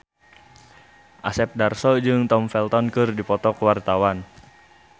Asep Darso jeung Tom Felton keur dipoto ku wartawan